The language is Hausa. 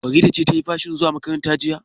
Farida ce ta yi fashin zuwa makaranta jiya?